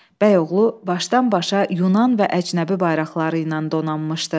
Bəyoğlu başdan-başa Yunan və əcnəbi bayraqları ilə donanmışdı.